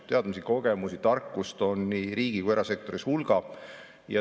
Teadmisi-kogemusi, tarkust on nii riigi- kui ka erasektoris hulga.